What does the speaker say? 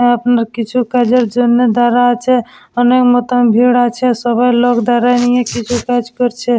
আ আপনা কিছু কাজের জন্য দ্বারা আছে অনেক মত ভিড় আছে। সবার লোক দাঁড়ায় নিয়ে কিছু কাজ করছে ।